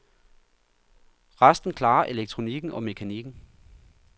Resten klarer elektronikken og mekanikken.